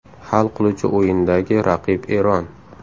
Hal qiluvchi o‘yindagi raqib Eron.